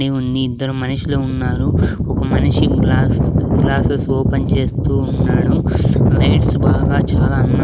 ఉంది ఇద్దరు మనుషులు ఉన్నారు ఒక మనిషి గ్లాస్ గ్లాసెస్ ఓపెన్ చేస్తూ ఉన్నాడు లైట్స్ బాగా చాలా అందం --